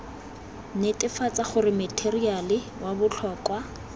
netefatsa gore matheriale wa botlhokwa